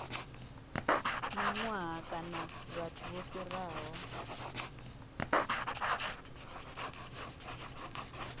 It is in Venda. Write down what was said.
mihwalo kana vhathu vho fhiraho